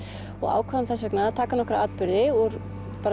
og ákváðum þess vegna að taka nokkra atburði úr